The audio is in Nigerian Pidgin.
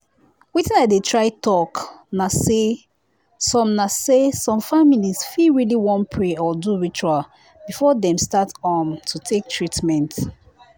wetin i dey try talk na say some na say some families fit really wan pray or do ritual before dem start um to take treatment.